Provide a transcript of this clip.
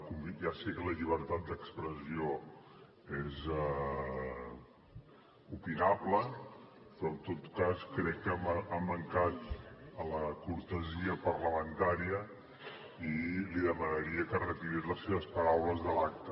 ja sé que la llibertat d’expressió és opinable però en tot cas crec que ha mancat a la cortesia parlamentària i li demanaria que retirés les seves paraules de l’acta